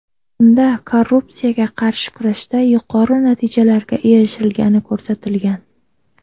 Unda korrupsiyaga qarshi kurashda yuqori natijalarga erishilgani ko‘rsatilgan.